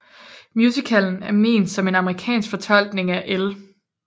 Musicallen er ment som en amerikansk fortolkning af L